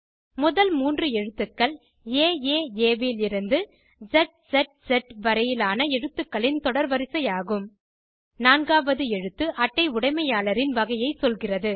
முதல் மூன்று எழுத்துக்கள் ஏஏஏ விலிருந்து ஸ்ஸ் வரையிலான எழுத்துகளின் தொடர்வரிசை ஆகும் நான்காவது எழுத்து அட்டை உடைமையாளரின் வகையை சொல்கிறது